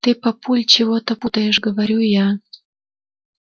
ты папуль чего-то путаешь говорю я